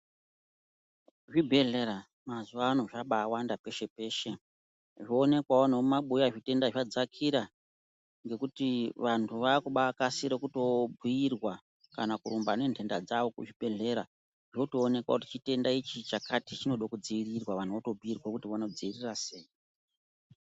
Zvibhedhlera mazuwa ano, zvabaa wanda peshe peshe. Zvoonekwawo nemumabuya, zvitenda zvadzakira, ngekuti vantu vaa kubaa kasira kutoo bhuirwa kana kurumba nentenda dzawo kuzvibhedhlera. Zvotoonekwa kuti chitenda ichi chakati chinode kudziirirwa. Vantu voto bhuirwa kuti vono dziiria sei.